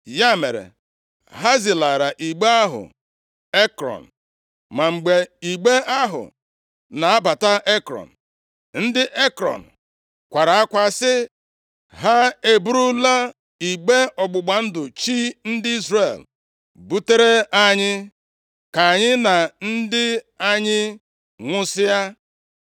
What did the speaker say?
Ya mere, ha zilara igbe ahụ Ekrọn. Ma mgbe igbe ahụ na-abata Ekrọn, ndị Ekrọn kwara akwa sị, “Ha e burula igbe ọgbụgba ndụ chi ndị Izrel butere anyị, ka anyị na ndị anyị nwụsịa!”